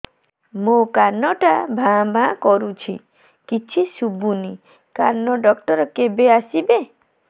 ମୋ କାନ ଟା ଭାଁ ଭାଁ କରୁଛି କିଛି ଶୁଭୁନି କାନ ଡକ୍ଟର କେବେ ଆସିବେ